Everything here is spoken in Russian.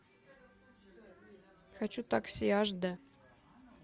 хочу такси аш д